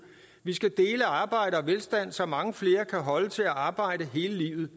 vi skal dele arbejde og velstand så mange flere kan holde til at arbejde hele livet